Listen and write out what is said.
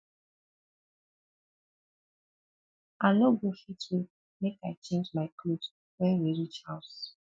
i no go fit wait make i change my cloth wen we reach house